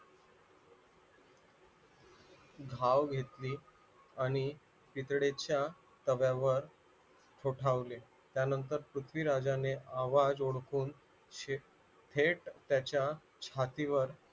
धाव घेतली आणि तिकडच्या तठोठावले त्यानंतर पृथ्वीराजाने आवाज ओडखून थेट त्याच्या छातीवर